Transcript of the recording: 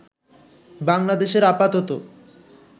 বাংলাদেশের আপাতত